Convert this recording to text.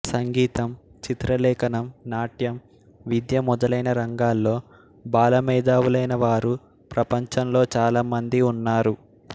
సంగీతం చిత్రలేఖనం నాట్యం విద్య మొదలైన రంగాల్లో బాల మేధావులైన వారు ప్రపంచంలో చాలా మంది ఉన్నారు